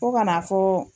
Fo kana fɔ